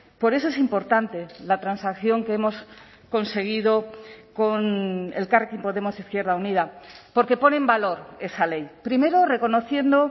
por eso es importante la transacción que hemos conseguido con elkarrekin podemos izquierda unida porque pone en valor esa ley primero reconociendo